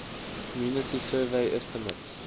community survey estimates